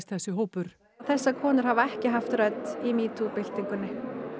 þessi hópur þessar konur hafa ekki haft rödd í byltingunni